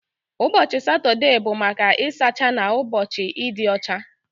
Ụbọchị Satọde bụ maka ịsacha na ụbọchị ịdị ọcha